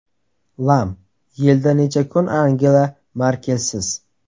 Lam: Yilda necha kun Angela Merkelsiz?